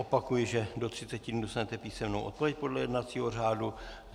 Opakuji, že do 30 dnů dostanete písemnou odpověď podle jednacího řádu.